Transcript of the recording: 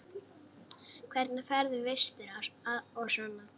Hvernig færðu vistir og svona?